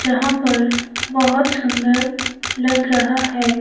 जहां पर बहोत सुंदर लग रहा है।